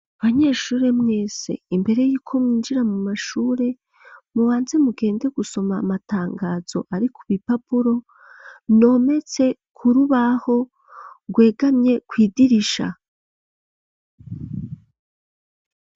Abanyeshure mwese imbere y'iko myeinjira mu mashure mubanze mugende gusoma amatangazo ari ku bi papuro nometse kurubaho rgwegamye kwidirisha.